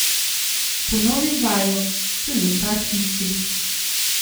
Ponovim vajo, rezultat isti.